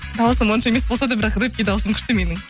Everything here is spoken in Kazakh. даусым онша емес болса да бірақ рэпке дауысым күшті менің